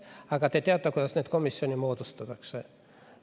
Aga te teate, kuidas neid komisjone moodustatakse.